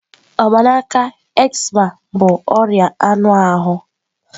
Mgbanaka, eczema bụ ọrịa anụ ahụ.